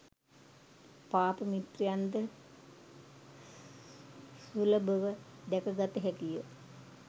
පාප මිත්‍රයන් ද සුලභව දැක ගත හැකි ය.